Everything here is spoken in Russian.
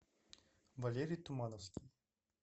валерий тумановский